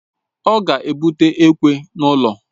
Ọ ga ebute ekwe n'ulo